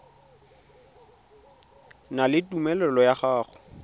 na le tumelelo ya go